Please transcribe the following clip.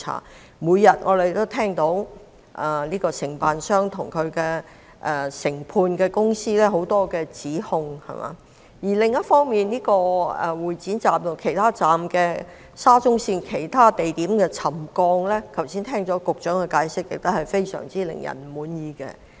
我們每天也聽到很多關於承建商及分判商的指控，而另一方面，對於沙中線會展站及其他車站的沉降問題，剛才局長的解釋同樣令人非常不滿意。